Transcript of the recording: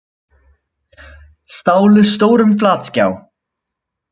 Stálu stórum flatskjá